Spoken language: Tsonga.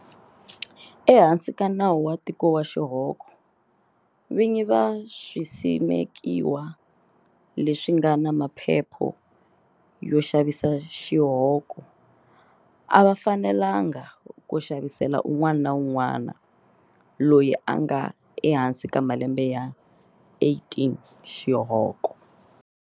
Ehansi ka Nawu wa Tiko wa Xihoko, vinyi va swisimekiwa leswi nga na maphepha yo xavisa xihoko a va fanelanga ku xavisela un'wana na un'wana loyi a nga ehansi ka malembe ya 18 xihoko.